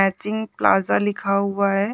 Matching plaza लिखा हुआ हैं।